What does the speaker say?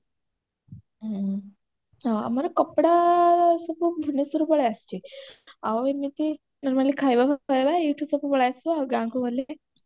ହଁ ଆମର କପଡା ସବୁ ଭୁବନେଶ୍ବରରୁ ପଳେଇ ଆସିଛି ଆଉ ଏମିତି normally ଖାଇବା ଫାଇବା ଏଇଠୁ ସବୁ ପଳେଇ ଆସିବ ଆଉ ଗାଁକୁ ଗଲେ